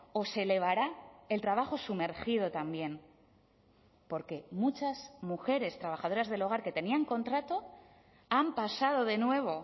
o se elevará el trabajo sumergido también porque muchas mujeres trabajadoras del hogar que tenían contrato han pasado de nuevo